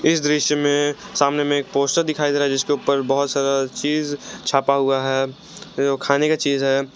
इस दृश्य में सामने में एक पोस्टर दिखाई दे रहा है जिसके ऊपर बहुत सारा चीज छापा हुआ है जो खाने का चीज है।